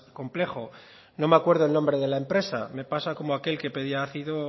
complejo no me acuerdo el nombre la empresa me pasa como aquel que pedía ácido